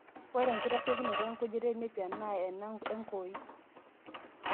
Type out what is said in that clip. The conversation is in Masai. Ore enkitasheikinoto enkujita enepia naa ena enkoii;